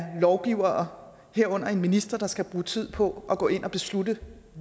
er lovgivere herunder en minister der skal bruge tid på at gå ind og beslutte